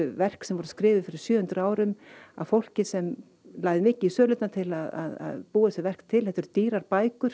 verk sem voru skrifuð fyrir sjö hundruð árum af fólki sem lagði mikið í sölurnar til að búa þessi verk til þetta eru dýrar bækur